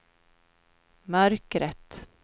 mörkret